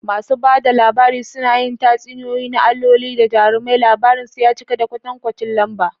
Masu ba da labari suna yin tatsuniyoyi na alloli da jarumai, labarinsu ya cika da kwatankwacin lamba.